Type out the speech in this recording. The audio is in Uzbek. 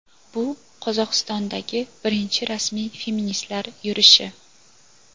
bu – Qozog‘istondagi birinchi rasmiy feministlar yurishi.